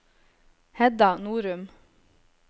Hedda Norum